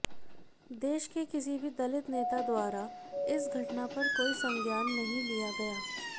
देश के किसी भी दलित नेता द्वारा इस घटना पर कोई संज्ञान नहीं लिया गया